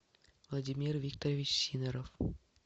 владимир викторович сидоров